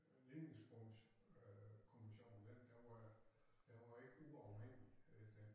Lignings øh kommission den den var den var ikke uafhængig øh den